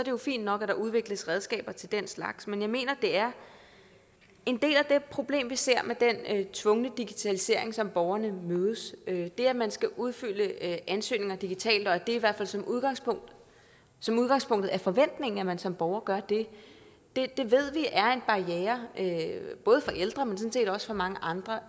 jo fint nok at der udvikles redskaber til den slags men jeg mener det er en del af det problem vi ser med den tvungne digitalisering som borgerne mødes med det at man skal udfylde ansøgninger digitalt og at det i hvert fald som udgangspunkt som udgangspunkt er forventningen at man som borger gør det ved vi er en barriere både for ældre men sådan set også for mange andre